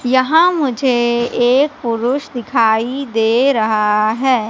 यहां मुझे एक पुरुष दिखाई दे रहा है।